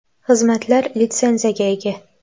Xizmatlar litsenziyaga ega.